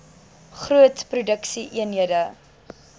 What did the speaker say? groot produksie eenhede